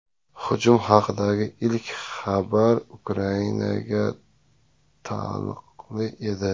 Hujum haqidagi ilk xabarlar Ukrainaga taalluqli edi .